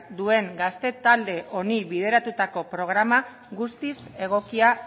duen gazte talde honi bideratutako programa guztiz egokia